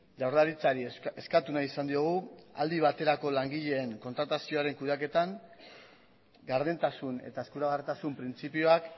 jaurlaritzari eskatu nahi izan diogu aldi baterako langileen kontratazioaren kudeatean gardentasun eta eskuragarritasun printzipioak